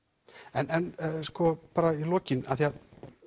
en bara í lokin af því að